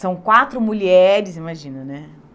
São quatro mulheres, imagina, né?